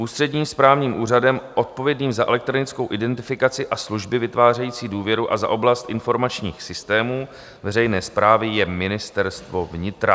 Ústředním správním úřadem odpovědným za elektronickou identifikaci a služby vytvářející důvěru a za oblast informačních systémů veřejné správy je Ministerstvo vnitra.